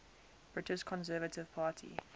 british conservative party